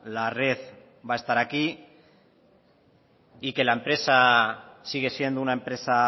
la red va a estar aquí y que la empresa sigue siendo una empresa